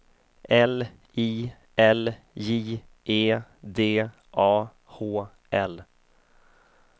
L I L J E D A H L